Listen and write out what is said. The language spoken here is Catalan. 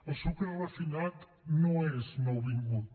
el sucre refinat no és nouvingut